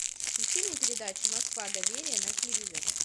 включи мне передачу москва доверие на телевизоре